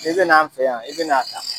I bɛn'an fɛ yan, i bɛna n' a ta.